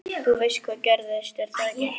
Þú veist hvað gerðist, er það ekki?